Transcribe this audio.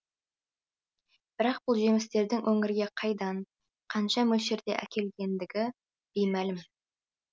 бірақ бұл жемістердің өңірге қайдан қанша мөлшерде әкелінгендігі беймәлім